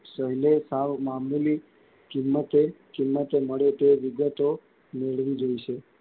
સહેલે સાવ મામૂલી કિમતે, કિમતે મળે તે વિગતો મેળવી લઈશું.